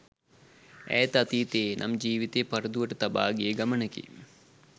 ඈත අතීතයේ නම් ජීවිතය පරදුවට තබා ගිය ගමනකි